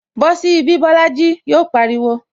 Bosi ibi Bolaji! Yọ pariwo